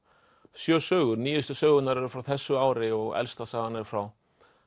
sjö sögur nýjustu sögurnar eru frá þessu ári og elsta sagan er frá